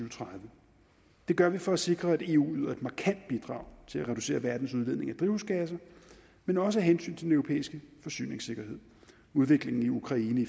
og tredive det gør vi for at sikre at eu yder et markant bidrag til at reducere verdens udledning af drivhusgasser men også af hensyn til den europæiske forsyningssikkerhed udviklingen i ukraine i